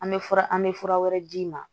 An bɛ fura an bɛ fura wɛrɛ d'i ma